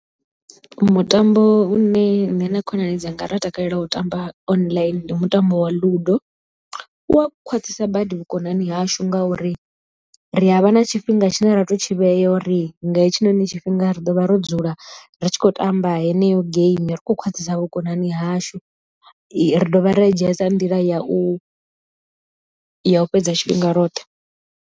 Mutambo une nṋe na khonani dzanga ra takalela u tamba online ndi mutambo wa Ludo, u a khwaṱhisa badi vhukonani hashu ngauri ri a vha na tshifhinga tshine ra to tshi vhea u ri nga hetshinoni tshifhinga ri ḓo vha ro dzula ri tshi khou tamba heneyo geimi ri khou khwaṱhisa vhukonani hashu ri dovha ra i dzhia sa nḓila ya u ya u fhedza tshifhinga roṱhe.